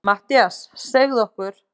MATTHÍAS: Segðu okkur.